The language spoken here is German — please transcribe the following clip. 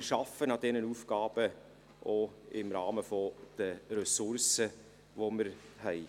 Wir arbeiten an diesen Aufgaben auch im Rahmen der Ressourcen, die wir haben.